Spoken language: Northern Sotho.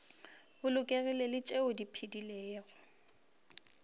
bolokegilego le tšeo di phedilego